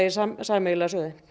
sameiginlega sjóði